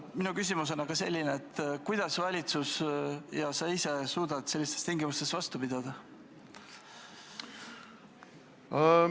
Minu küsimus on aga selline: kuidas suudab valitsus ja kuidas suudad sa ise sellistes tingimustes vastu pidada?